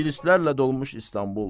İngilislərlə dolmuş İstanbul.